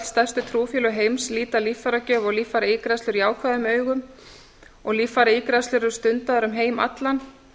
stærstu trúfélög heims líta líffæragjöf og líffæraígræðslur jákvæðum augum og líffæraígræðslur eru stundaðar um heim allan